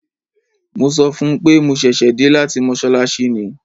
Mo sọ fún un pé mo ṣẹ̀ṣẹ̀ dé láti mọ́ṣáláṣí ni.